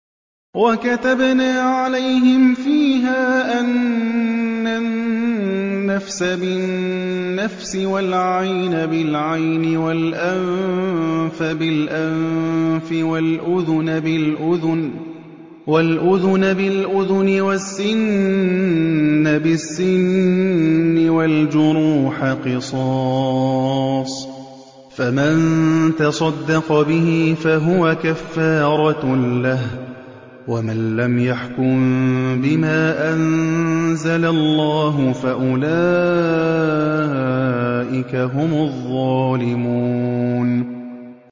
وَكَتَبْنَا عَلَيْهِمْ فِيهَا أَنَّ النَّفْسَ بِالنَّفْسِ وَالْعَيْنَ بِالْعَيْنِ وَالْأَنفَ بِالْأَنفِ وَالْأُذُنَ بِالْأُذُنِ وَالسِّنَّ بِالسِّنِّ وَالْجُرُوحَ قِصَاصٌ ۚ فَمَن تَصَدَّقَ بِهِ فَهُوَ كَفَّارَةٌ لَّهُ ۚ وَمَن لَّمْ يَحْكُم بِمَا أَنزَلَ اللَّهُ فَأُولَٰئِكَ هُمُ الظَّالِمُونَ